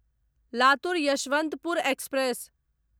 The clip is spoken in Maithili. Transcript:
लातुर यशवंतपुर एक्सप्रेस